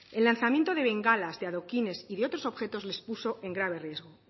el lanzamiento de bengalas de adoquines y de otros objetos les puso en grave riesgo